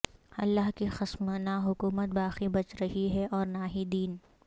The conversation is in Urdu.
اللہ کی قسم نہ حکومت باقی بچ رہی ہے اور نہ ہی دین